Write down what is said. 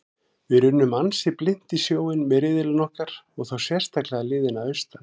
Við runnum ansi blint í sjóinn með riðillinn okkar og þá sérstaklega liðin að austan.